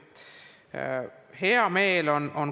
Sellest on hea meel.